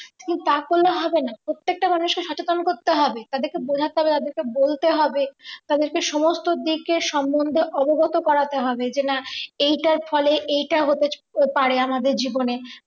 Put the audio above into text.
কিন্তু তা করলে হবে না প্রত্যেকটা মানুষের সচেতন করতে হবে তাদেরকে বোঝাতে হবে তাদেরকে বলতে হবে। তাদেরকে সমস্ত দিকের সম্বন্ধে অবগত করাতে হবে যেনা এইটার ফলে এইটা হতে পারে আমাদের জীবনে